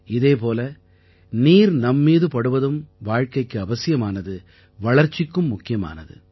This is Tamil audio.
இதே போல நீர் நம் மீது படுவதும் வாழ்க்கைக்கு அவசியமானது வளர்ச்சிக்கும் முக்கியமானது